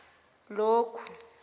lokhu